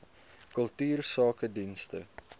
kultuursakedienste